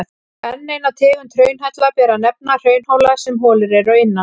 Enn eina tegund hraunhella ber að nefna, hraunhóla sem holir eru innan.